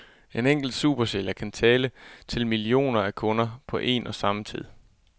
En enkelt supersælger kan tale til millioner af kunder på en og samme tid.